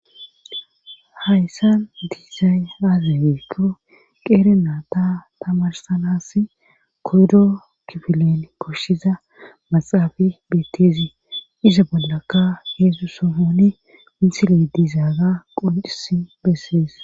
hayssan diizayn aazabeekhu qeerenaa ta tamarsanas kordo kifilen koshshiza maxaafi beetteezi iza bollakka heedzdzu sofoni insile diizaaga qoncisi bessees